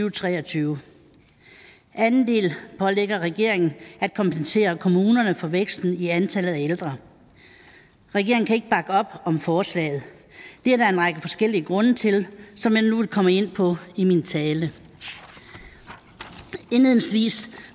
og tre og tyve anden del pålægger regeringen at kompensere kommunerne for væksten i antallet af ældre regeringen kan ikke bakke op om forslaget det er der en række forskellige grunde til som jeg nu vil komme ind på i min tale indledningsvis